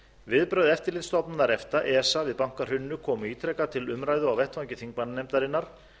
viðbrögð eftirlitsstofnunar efta esa við bankahruninu komu ítrekað til umræðu á vettvangi þingmannanefndarinnar